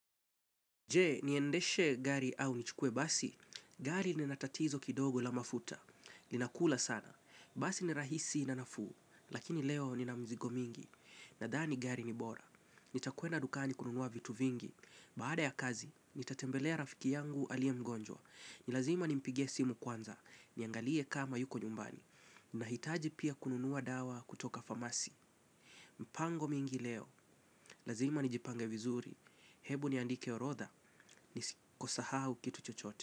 Je, niendeshe gari au nichukue basi, gari linatatizo kidogo la mafuta, linakula sana, basi ni rahisi na nafuu, lakini leo ninamzigo mingi, nadhani gari ni bora, nitakwenda dukani kununua vitu vingi, baada ya kazi, nitatembelea rafiki yangu alie mgonjwa, nilazima nimpigie simu kwanza, niangalie kama yuko nyumbani, nahitaji pia kununua dawa kutoka phamasi. Mpango mingi leo, lazima nijipange vizuri. Hebu niandike orodha, nisiko sahau kitu chochote.